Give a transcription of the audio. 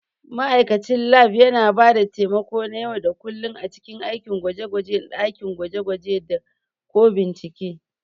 Ma'aikacin Lab yana ba da taimako na yau da kullun a cikin aikin gwaje-gwajen dakin gwaje-gwaje da/ko bincike.